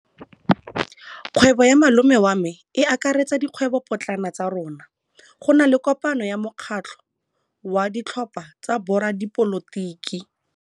Kgwêbô ya malome wa me e akaretsa dikgwêbôpotlana tsa rona. Go na le kopanô ya mokgatlhô wa ditlhopha tsa boradipolotiki.